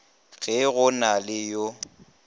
ge go na le yo